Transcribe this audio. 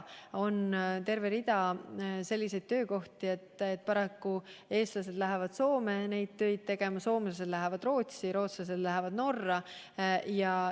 On terve rida selliseid töid, mida paraku eestlased lähevad tegema Soome, soomlased Rootsi ja rootslased Norrasse.